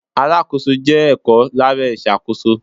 Alákóso ìṣòwò jẹ́ ẹ̀kọ́ lábẹ́ ìṣàkóso.